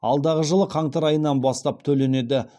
алдағы жылы қаңтар айынан бастап төленеді